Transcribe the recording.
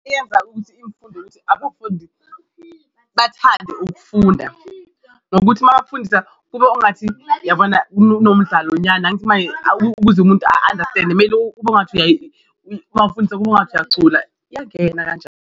Iyenza ukuthi umfundi ukuthi bathande ukufunda ngokuthi mabafundisa kube ongathi uyabona kunomdlalo nyana angithi maye ukuze umuntu a-understand-e kumele kube ngathi mawufundisa kube ngathi uyacula yangena .